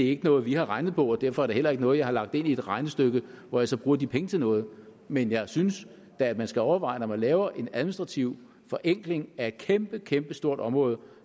ikke noget vi har regnet på og derfor er det heller ikke noget jeg har lagt ind i et regnestykke hvor jeg så bruger de penge til noget men jeg synes da at man skal overveje når man laver en administrativ forenkling af et kæmpekæmpestort område